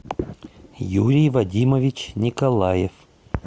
юрий вадимович николаев